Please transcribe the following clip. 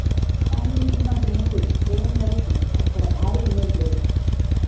కానీ ఈ సినిమాకి ముందు జయం రవికి అక్కడ భారీ ఇమేజ్ లేదు